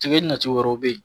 Tige ɲɛci wɛrɛw be yen.